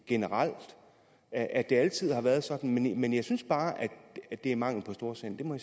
generelt at det altid har været sådan men jeg synes bare at det er mangel på storsind det må